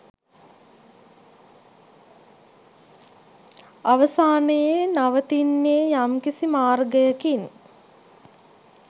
අවසානයේ නවතින්නේ යම්කිසි මාර්ගයකින්